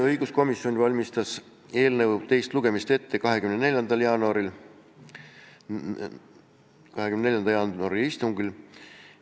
Õiguskomisjon valmistas eelnõu teist lugemist ette 24. jaanuari istungil.